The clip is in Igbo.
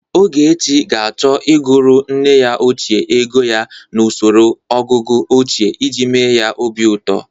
Ogechi ga-achọ ịgụrụ nne ya ochie ego ya n'osoro ọgụgụ ochie iji mee ya obi ụtọ.